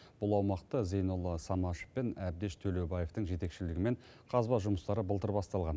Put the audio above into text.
бұл аумақта зейнолла самашев пен әбдеш төлеубаевтың жетекшілігімен қазба жұмыстары былтыр басталған